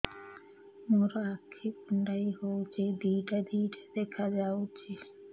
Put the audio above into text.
ମୋର ଆଖି କୁଣ୍ଡାଇ ହଉଛି ଦିଇଟା ଦିଇଟା ଦେଖା ଯାଉଛି